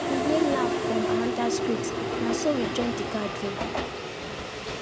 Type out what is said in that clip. we hear laff from another street na so we join the gathering